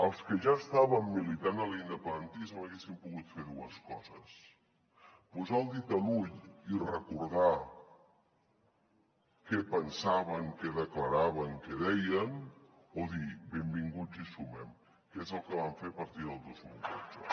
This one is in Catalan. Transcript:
els que ja estàvem militant a l’independentisme haguéssim pogut fer dues coses posar el dit a l’ull i recordar què pensaven què declaraven què deien o dir benvinguts i sumem que és el que vam fer a partir del dos mil dotze